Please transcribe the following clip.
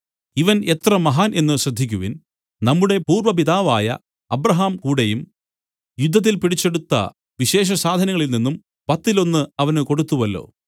ഇവൻ എത്ര മഹാൻ എന്നു ശ്രദ്ധിക്കുവിൻ നമ്മുടെ പൂർവ്വപിതാവായ അബ്രാഹാംകൂടെയും യുദ്ധത്തിൽ പിടിച്ചെടുത്ത വിശേഷസാധനങ്ങളിൽ നിന്നും പത്തിലൊന്ന് അവന് കൊടുത്തുവല്ലോ